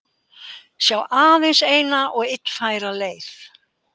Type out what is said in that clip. Sjá aðeins eina og illfæra leið